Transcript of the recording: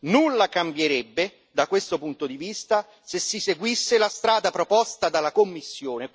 Nulla cambierebbe, da questo punto di vista, se si seguisse la strada proposta dalla Commissione.